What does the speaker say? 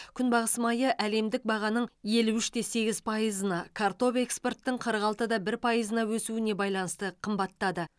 күнбағыс майы әлемдік бағаның елу үш те сегіз пайызына картоп экспорттың қырық алты да бір пайызына өсуіне байланысты қымбаттады